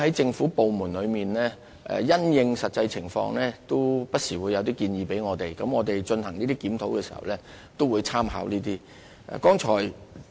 政府部門也會因應實際情況，不時向我們提出建議，我們在進行有關檢討時，會參考相關意見。